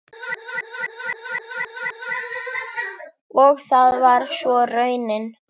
Og það var svo raunin.